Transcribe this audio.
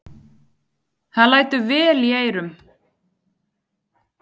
Það lætur vel í eyrum.